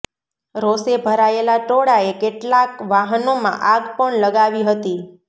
રોષે ભરાયેલા ટોળાએ કેટલાક વાહનોમાં આગ પણ લગાવી હતી